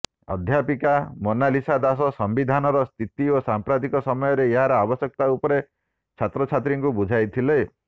ଅଧ୍ୟାପିକା ମୋନାଲିସା ଦାସ ସମ୍ବିଧାନର ସ୍ଥିତି ଓ ସାମ୍ପ୍ରତିକ ସମୟରେ ଏହାର ଆବଶ୍ୟକତା ଉପରେ ଛାତ୍ରଛାତ୍ରୀଙ୍କୁ ବୁଝାଇଥିଲେ